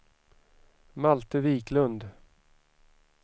Malte Wiklund